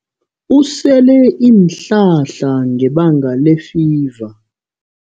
Usele iinhlahla ngebanga lefiva.